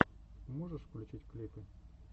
можешь включить клипы